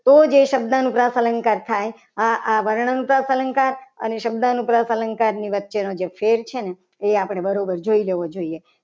તો જ એ શબ્દ અનુપ્રાસ અલંકાર થાય આવા આ વર્ણ અનુપ્રાસ અલંકાર અને શબ્દ અલંકાર વચ્ચેનો જે ફેર છે. ને એ આપણે બરાબર જોઈ લેવો જોઈએ.